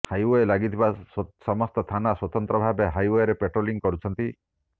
highway ଲାଗିଥିବା ସମସ୍ତ ଥାନା ସ୍ୱତନ୍ତ୍ର ଭାବେ ହାଇୱେରେ ପାଟ୍ରୋଲିଂ କରୁଛନ୍ତି